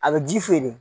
A bɛ ji feere